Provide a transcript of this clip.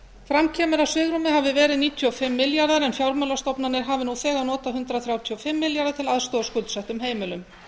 fram kemur að svigrúmið hafi veri níutíu og fimm milljarðar en fjármálastofnanir hafi nú þegar notað hundrað þrjátíu og fimm milljarða til aðstoðar skuldsettum heimilum